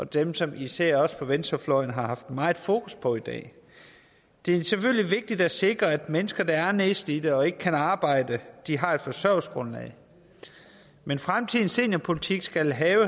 dem som især venstrefløjen haft meget fokus på i dag det er selvfølgelig vigtigt at sikre at mennesker som er nedslidte og ikke kan arbejde har et forsørgelsesgrundlag men fremtidens seniorpolitik skal have